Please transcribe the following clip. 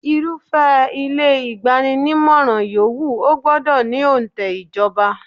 Irúfẹ́ ilé igbanimọ́ra yòówù, ó gbọ́dọ̀ ní onte ìjọba.